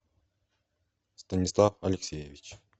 станислав алексеевич